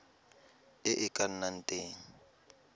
e e ka nnang teng